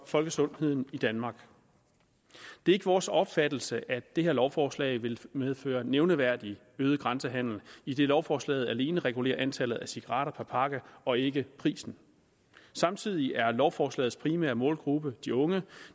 folkesundheden i danmark det er ikke vores opfattelse at det her lovforslag vil medføre nogen nævneværdig øget grænsehandel idet lovforslaget alene regulerer antallet af cigaretter per pakke og ikke prisen samtidig er lovforslagets primære målgruppe de unge